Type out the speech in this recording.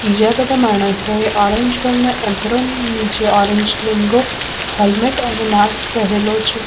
બીજા બધા માણસોએ ઓરેન્જ કલર નો નીચે ઓરેન્જ લેંઘો હેલ્મેટ અને માસ્ક પહેરેલું છે.